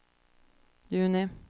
juni